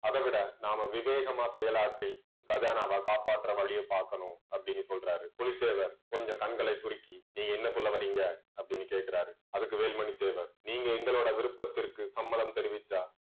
அதைவிட நாம விவேகமா செயலாற்றி கஜானாவை காப்பாத்துற வழியை பார்க்கணும் அப்படின்னு சொல்றாரு புலித்தேவர் கொஞ்சம் கண்களை சுருக்கி நீங்க என்ன சொல்ல வர்றீங்க அப்படின்னு கேட்கிறாரு அதுக்கு வேலுமணி தேவர் நீங்க எங்களோட விருப்பத்திற்கு சம்மதம் தெரிவிச்சா